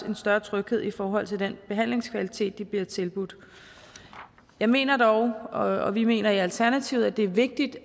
en større tryghed i forhold til den behandlingskvalitet de bliver tilbudt jeg mener dog og vi mener i alternativet at det er vigtigt